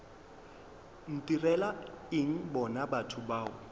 ntirela eng bona batho bao